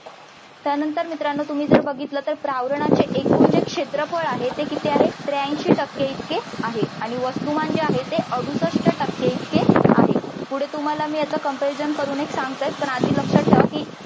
त्यानंतर मित्रांनो तुम्ही जर बघितलं तर प्रावरणाचे एकूण जे क्षेत्रफळ आहे ते किती आहे त्रेऐंशी टक्के इतके आहे. आणि वस्तुमान जे आहे ते अडुसष्ट टक्के इतके आहे. पुढे तुम्हाला मी याच comparison करून सांगते पण आधी लक्षात ठेवा कि